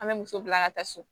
An bɛ muso bila an ka taa so